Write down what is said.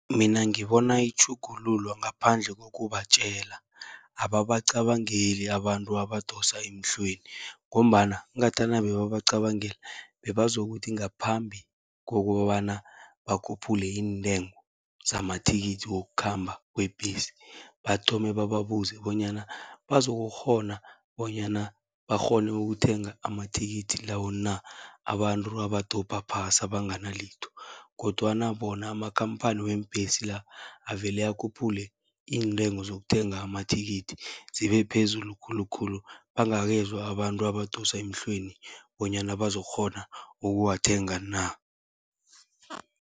Mina ngibona itjhugululwa ngaphandle kokubatjela, ababacabangeli abantu abadosa emhlweni, ngombana ngathana bebabacabangela bebazokuthi ngaphambi kokobana bakhuphule iintengo zamathikithi wokukhamba kwebhesi, bathome bababuze bonyana bazokukghona bonyana bakghone ukuthenga amathikithi lawo na, abantu abadobha phasi abangana litho. Kodwana bona amakhamphani weembhesi la, avele akhuphule iintengo zokuthenga amathikithi zibe phezulu khulukhulu, bangakezwa abantu abadosa emhlweni bonyana bazokukghona ukuwathenga na.